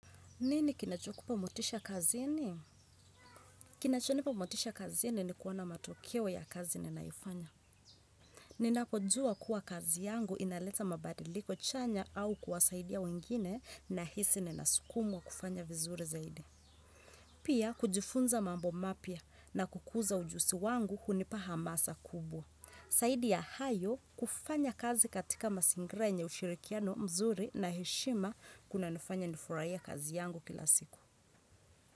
Nini kinacho kupa motisha kazini? Kinacho nipa motisha kazini ni kuona matokeo ya kazi ninaifanya. Ninapo juwa kuwa kazi yangu inaleta mabadiliko chanya au kuwasaidia wengine nahisi nina sukumwa kufanya vizuri zaidi. Pia kujifunza mambo mapya na kukuza ujuzi wangu hunipa hamasa kubwa. Zaidi ya hayo kufanya kazi katika mazingira yenye ushirikiano mzuri na heshima kuna nifanya nifurahie kazi yangu kila siku.